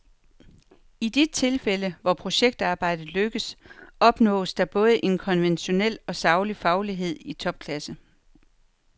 I de tilfælde, hvor projektarbejdet lykkes, opnås der både en konventionel og saglig faglighed i topklasse.